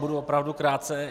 Budu opravdu krátce.